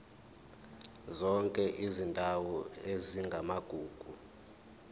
zonke izindawo ezingamagugu